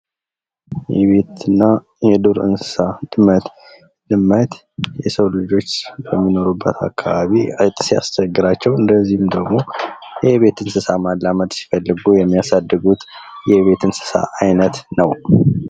የቤት እና የዱር እንስሳት ድመት ድመት የሰው ልጆች በሚኖሩበት አካባቢ አይጥ ሲያስቸግራቸው እንደዚሁም ደግሞ የቤት እንስሳ ማላመድ ሲፈልጉ የሚያሳድጉት የቤት እንስሳ አይነት ነው።